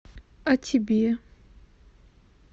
а тебе